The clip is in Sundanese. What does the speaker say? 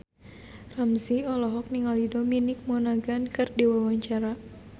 Ramzy olohok ningali Dominic Monaghan keur diwawancara